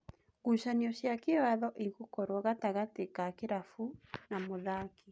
Ngucanio cia kĩwatho igũkorwo gatagatĩ wa kĩrabu na mũthaki.